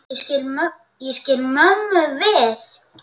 Ég skil mömmu vel.